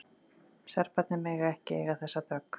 Serbarnir mega ekki eiga þessa dögg!